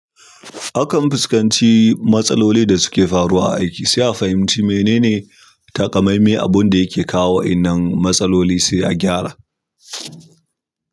Akan fuskanci matsalolin da suke faruwa a aiki, sai a fahimci menene takamaime abun da yake kawo wa'innan matsaloli sai a gyara.